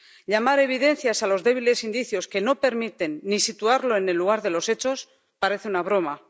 Llamar evidencias a los débiles indicios que no permiten ni situarlo en el lugar de los hechos parece una broma.